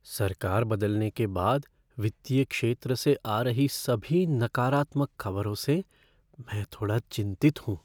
सरकार बदलने के बाद वित्तीय क्षेत्र से आ रही सभी नकारात्मक खबरों से मैं थोड़ा चिंतित हूँ।